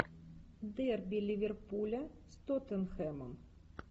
дерби ливерпуля с тоттенхэмом